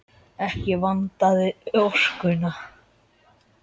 Ekki vantaði orkuna.